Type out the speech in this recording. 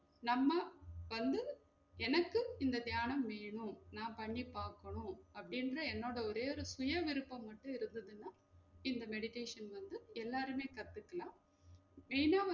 நம்ம வந்து எனக்கு இந்த தியானம் வேணும் நா பண்ணி பாக்கனும் அப்டிங்குற என்னோட ஒரே ஒரு சுயவிருப்பம் மட்டும் இருக்குதுன்னா இந்த meditation வந்து எல்லாருமே கத்துக்கலாம் அப்படினா